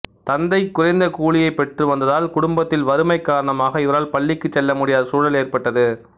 தந்தை குறைந்த கூலியைப் பெற்று வந்ததால் குடும்பத்தில் வறுமை காரணமாக இவரால் பள்ளிக்குச் செல்ல முடியாத சூழல் ஏற்பட்டது